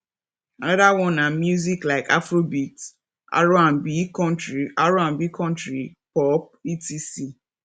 another one na music like afrobeat rnb country rnb country pop etc